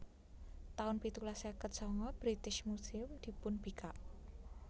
taun pitulas seket sanga British Museum dipunbikak